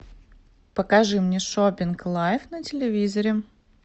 покажи мне шопинг лайв на телевизоре